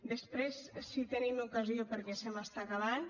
després si tenim ocasió perquè se m’està acabant